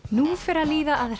nú fer að líða að